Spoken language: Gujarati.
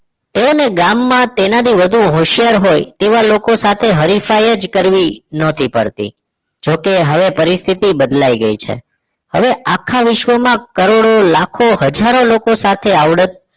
તેઓને ગામમાં તેનાથી વધુ હોશિયાર હોય તેવા લોકો સાથે હરીફાય જ કરવી ન‌ હતી પડતી જોકે હવે પરિસ્થિતિ બદલાઈ ગઈ છે હવે આખા વિશ્વમાં કરોડો લાખો હજારો લોકો સાથે આવડત